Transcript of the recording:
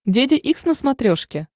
деде икс на смотрешке